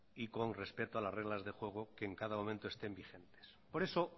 y con respeto a las reglas de juego que en cada momento estén vigentes por eso